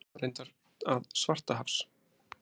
Mig grunar reyndar að Svartahafs